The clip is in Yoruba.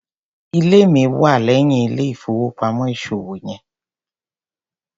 Ilé mi wà léyìn ilé ìfowópamọ́ ìṣòwò yen.